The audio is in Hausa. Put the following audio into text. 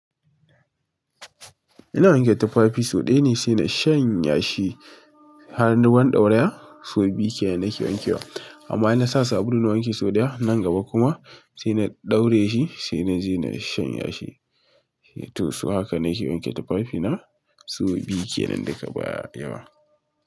Ina wanke tufafi sau ɗaya ne sai na shanya shi har na ruwan ɗauraya sau biyu kenan nake wanke wa. Amma in na sa sabulu na wanke sau ɗaya nan gaba kuma sai na ɗauraye shi sai na je na shanye shi. To su haka nake wanke tufafina sau biyu kenan daga baya yawa.